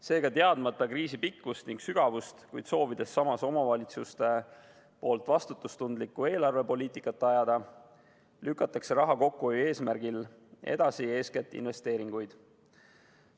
Seega, teadmata kriisi pikkust ning sügavust, kuid soovides samas omavalitsuses vastutustundlikku eelarvepoliitikat ajada, lükatakse raha kokkuhoiu eesmärgil edasi eeskätt investeeringuid.